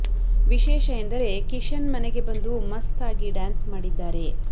ವಿಶೇಷ ಎಂದರೆ ಕಿಶನ್ ಮನೆಗೆ ಬಂದು ಮಸ್ತ್ ಆಗಿ ಡ್ಯಾನ್ಸ್ ಮಾಡಿದ್ದಾರೆ